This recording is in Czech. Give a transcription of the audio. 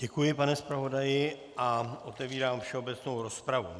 Děkuji, pane zpravodaji, a otevírám všeobecnou rozpravu.